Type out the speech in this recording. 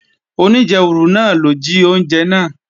Oníjẹwùrù náà ló jí oúnjẹ náà